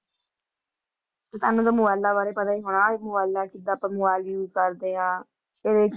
ਤੁਹਾਨੂੰ ਤਾਂ ਮੋਬਾਇਲਾਂ ਬਾਰੇ ਪਤਾ ਹੀ ਹੋਣਾ, ਮੋਬਾਇਲਾਂ ਕਿੱਦਾਂ ਆਪਾਂ mobile use ਕਰਦੇ ਹਾਂ ਇਹਦੇ